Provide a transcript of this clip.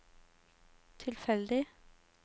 tilfeldig